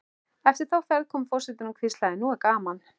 Eftir þá ferð kom forsetinn og hvíslaði: Nú er gaman